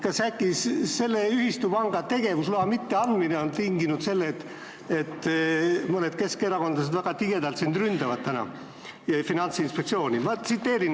Kas sa ei tunne, et äkki sellele ühistupangale tegevusloa mitteandmine on tinginud selle, et mõned keskerakondlased väga tigedalt täna ründavad sind ja Finantsinspektsiooni?